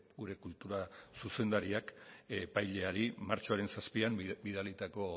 gure kultura zuzendariak epaileari martxoaren zazpian bidalitako